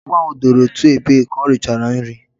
Agwo ahu dooro otu ebe ka o richara nri